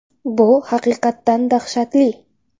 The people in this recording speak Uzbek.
Bu haqiqatan dahshatli.